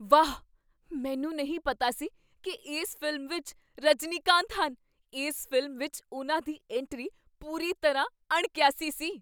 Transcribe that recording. ਵਾਹ! ਮੈਨੂੰ ਨਹੀਂ ਪਤਾ ਸੀ ਕੀ ਇਸ ਫ਼ਿਲਮ ਵਿੱਚ ਰਜਨੀਕਾਂਤ ਹਨ। ਇਸ ਫ਼ਿਲਮ ਵਿੱਚ ਉਨ੍ਹਾਂ ਦੀ ਐਂਟਰੀ ਪੂਰੀ ਤਰ੍ਹਾਂ ਅਣਕੀਆਸੀ ਸੀ।